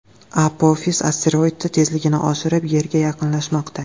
Apofis asteroidi tezligini oshirib, Yerga yaqinlashmoqda.